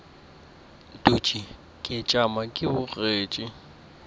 dutše ke tšama ke bogetše